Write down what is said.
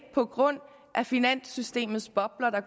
på grund af finanssystemets bobler der